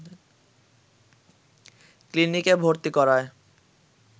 ক্লিনিকে ভর্তি করায়